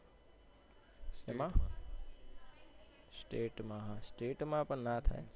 state માં state માં પણ ના થાય